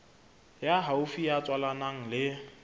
ya haufi ya tswalanang le